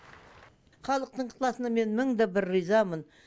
халықтың ықыласына мен мың да бір ризамын